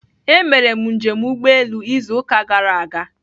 Emere m njem ụgbọelu izu ụka gara aga.